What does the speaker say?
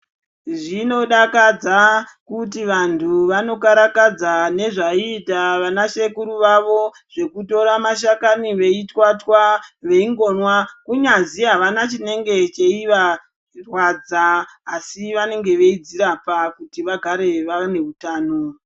Zvinodakadza kuti vantu vanokarakadza nezvaiita vana sekuru vavo zvekutora mashakani veitwatwa veingonwa. Kunyazwi havana chinenge cheivarwadza asi vanenge veidzirapa kuti vagare vane hutano.